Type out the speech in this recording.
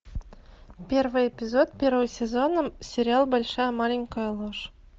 первый эпизод первого сезона сериал большая маленькая ложь